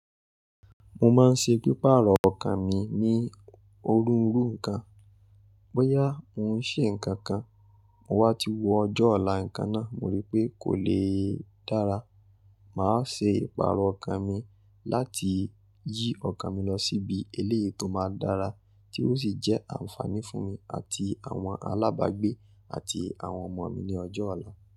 Mo máa ń ṣe pípa ààrọ̀ ọkàn mi ní òruùru nǹkan. Bóyá mo ń ṣe nǹkan kan, mo wá ti wo ọjọ́ ọ̀la nǹkan náà, mo rí pé kò le dára, màá ṣe ìpààrọ̀ ọkà mi láti yí ọkàn mi lọ síbi eléyìí tó máa dára tí ó sì jẹ́ ànfààní fún mi àti àwọn alábàágbé àti àwọn ọmọ mi ní ọjọ́ ọ̀la.